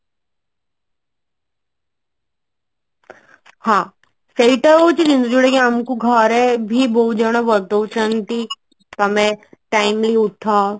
ହଁ ସେଇଟା ହଉଛି ଯୋଉଟା କି ଆମକୁ ଘରେ ବି ବହୁତ୍ ଜଣ ବତୋଉଛନ୍ତି ତମେ timely ଉଠ